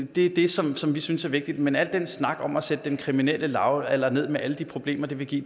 det er det som som vi synes er vigtigt men al den snak om at sætte den kriminelle lavalder ned med alle de problemer det vil give